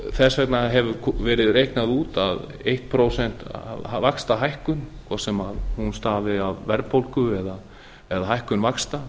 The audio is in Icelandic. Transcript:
þess vegna hefur verið reiknað út að eitt prósent vaxtahækkun hvort sem hún stafi af verðbólgu eða hækkun vaxta